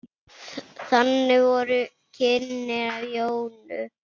Þannig voru kynnin af Jónu.